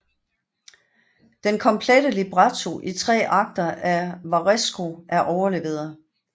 Den komplette libretto i tre akter af Varesco er overleveret